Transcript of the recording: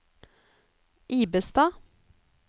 Ibestad